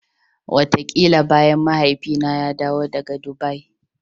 Wataƙila bayan Mahaifina ya dawo daga Dubai.